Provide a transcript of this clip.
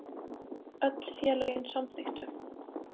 Öll félögin samþykktu